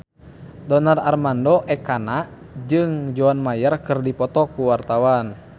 Donar Armando Ekana jeung John Mayer keur dipoto ku wartawan